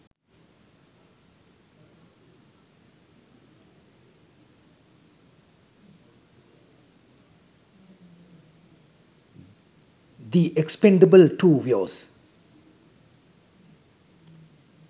the expendables 2 viooz